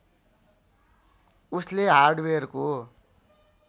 उसले हार्डवेयरको